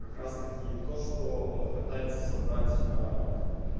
как раз-таки это что пытается собрать